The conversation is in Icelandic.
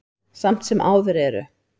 Samt sem áður eru